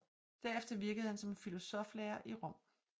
Derefter virkede han som filosofilærer i Rom